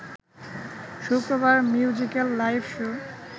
শুক্রবার musical live show